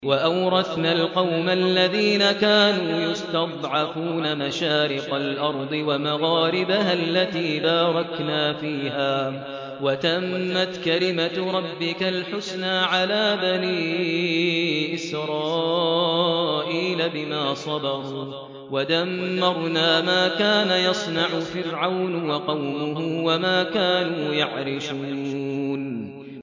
وَأَوْرَثْنَا الْقَوْمَ الَّذِينَ كَانُوا يُسْتَضْعَفُونَ مَشَارِقَ الْأَرْضِ وَمَغَارِبَهَا الَّتِي بَارَكْنَا فِيهَا ۖ وَتَمَّتْ كَلِمَتُ رَبِّكَ الْحُسْنَىٰ عَلَىٰ بَنِي إِسْرَائِيلَ بِمَا صَبَرُوا ۖ وَدَمَّرْنَا مَا كَانَ يَصْنَعُ فِرْعَوْنُ وَقَوْمُهُ وَمَا كَانُوا يَعْرِشُونَ